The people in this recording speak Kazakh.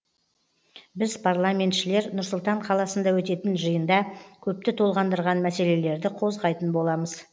біз парламентшілер нұр сұлтан қаласында өтетін жиында көпті толғандырған мәселелерді қозғайтын боламыз